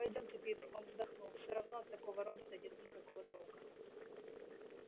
пойдёмте питер он вздохнул все равно от такого робота нет никакого толка